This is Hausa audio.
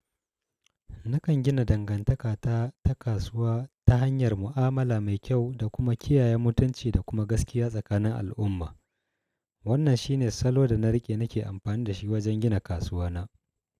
Nakan gina dangantaka ta, ta kasuwa ta hanyar mu'amala mai kyau da kuma kiyaye mutunci da kuma gaskiya tsakanin al'umma. Wannan shi ne salo da na riƙe nake amfani da shi wajen gina kasuwa na.